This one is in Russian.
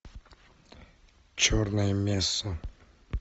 черная месса